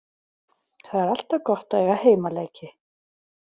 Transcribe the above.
Það er alltaf gott að eiga heimaleiki.